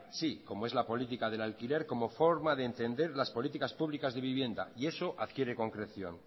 sí como es la política del alquiler como forma de entender las políticas públicas de vivienda y eso adquiere concreción